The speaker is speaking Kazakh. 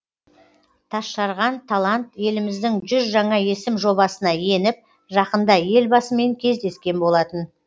тасжарған талант еліміздің жүз жаңа есім жобасына еніп жақында елбасымен кездескен болатын